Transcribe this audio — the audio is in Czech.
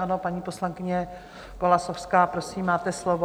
Ano, paní poslankyně Golasowská, prosím, máte slovo.